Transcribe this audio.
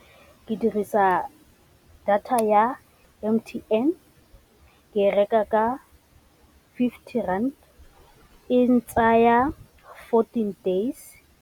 Ke dirisa data ya M_T_N ke e reka ka fifty rand, e ntsaya fourteen days.